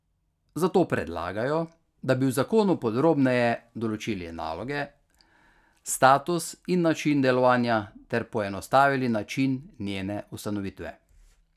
Zato predlagajo, da bi v zakonu podrobneje določili naloge, status in način delovanja ter poenostavili način njene ustanovitve.